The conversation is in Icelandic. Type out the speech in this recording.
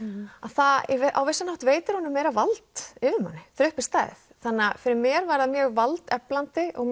að það á vissan hátt veitir honum vald yfir manni þegar uppi er staðið þannig að fyrir mér var það mjög valdeflandi og